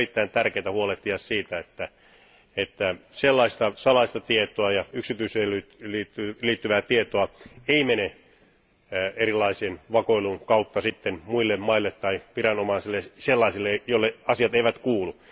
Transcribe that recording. On erittäin tärkeää huolehtia siitä, että sellaista salaista tietoa ja yksityisyyteen liittyvää tietoa ei mene erilaisen vakoilun kautta sitten muille maille tai viranomaisille, sellaisille, joille asiat eivät kuulu.